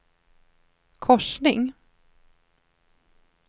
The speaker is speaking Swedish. korsning